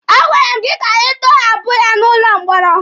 A gwara m gị ka ị tọhapụ ya n'ụlọ mkpọrọ!